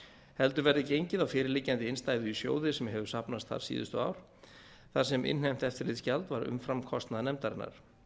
heldur verði gengið á fyrirliggjandi innstæðu í sjóði sem hefur safnast þar síðustu ár þar sem innheimt eftirlitsgjald var umfram kostnað nefndarinnar